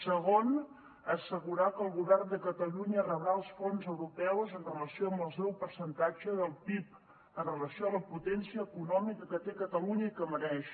segon assegurar que el govern de catalunya rebrà els fons europeus en relació amb el seu percentatge del pib en relació amb la potència econòmica que té catalunya i que mereix